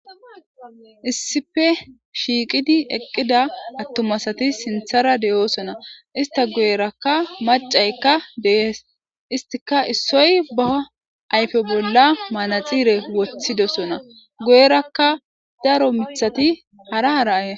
issife shiiqidi eqqida attumasati sinthara de7oosona ista goyerakka macaykka deees istika issoy baha ayfe bolla manaxiire wothidosona goyerakka daro mithati hara hara ay